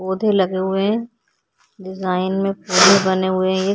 पौधे लगे हुए हैं। डिजाइन में पौधे बने हुए हैं।